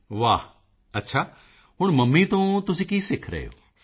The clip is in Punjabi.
ਮੋਦੀ ਜੀ ਵਾਹ ਅੱਛਾ ਹੁਣ ਮੰਮੀ ਤੋਂ ਤੁਸੀਂ ਕੀ ਸਿੱਖ ਰਹੇ ਹੋ